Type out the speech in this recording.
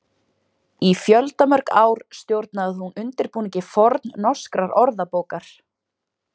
Í fjöldamörg ár stjórnaði hún undirbúningi fornnorskrar orðabókar.